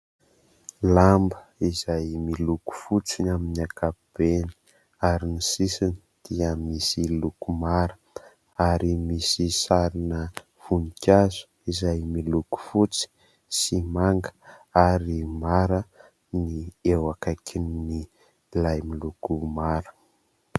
Lamba izay miloko fotsy ny amin'ny ankapobeny ary ny sisiny dia miloko mara ary misy sarina vonikazo izay miloko fotsy sy manga ary mara ny eo akaikin'ilay miloko mara.